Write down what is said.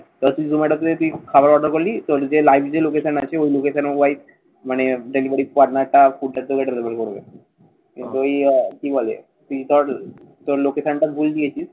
ধর, তুই খাবার অর্ডার করলি কেউ যদি live যদি location আছে ওই location এ white মানে delivery corner টা food available করবে। তুই কি বলে? তুই তোর location টা ভুল দিয়েছিস।